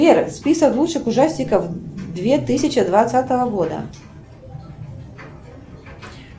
сбер список лучших ужастиков две тысячи двадцатого года